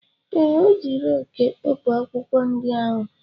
Ee, ọ ji reekị e kpopụ akwụkwọ ndị ahụ.